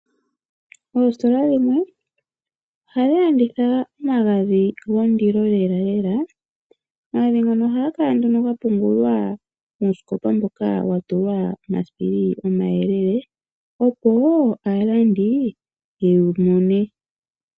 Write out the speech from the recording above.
Oositola dhimwe ohadhi landitha omagadhi gondilo lelalela, omagadhi ngono ohaga kala ga pungulwa muusikopa mboka wa tulwa omasipili omayelele opo aalandi ye wu mone.